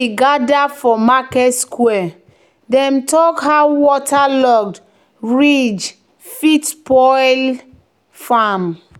"when we gather for market square dem talk how waterlogged ridge fit spoil farm."